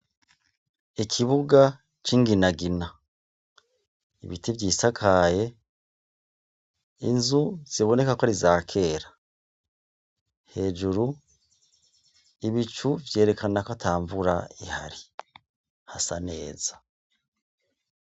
ikibuga c' inginagina ibiti vyisakaye inzu zibonekako arizakera hejuru ibicu vyerekana ko atamvura ihari hasa neza